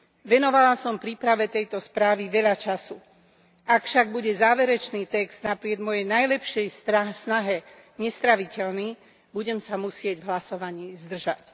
Venovala som príprave tejto správy veľa času, ak však bude záverečný text napriek mojej najlepšej snahe nestráviteľný, budem sa musieť v hlasovaní zdržať.